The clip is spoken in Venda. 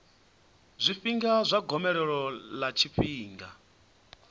zwifhinga zwa gomelelo ḽa tshifhinga